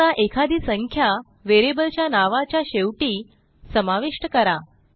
आता एखादी संख्या व्हेरिएबलच्या नावाच्या शेवटी समाविष्ट करा